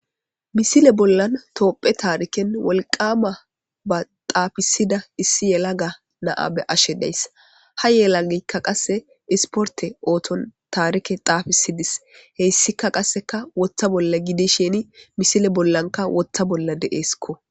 misile bollan toophe taariken wolqama ba xaafisida issi yela ga naa be ashe deys ha yelagikka qasse isporte ooton taarike xaafisidis heyssika qasseka wotta bolla gidi sheni misile bollanka wotta bolla dee'skko